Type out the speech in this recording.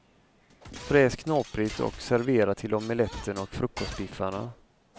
Fräs knaprigt och servera till omeletten och frukostbiffarna.